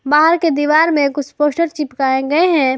बाहर के दीवार में कुछ पोस्टर चिपकाए गए हैं।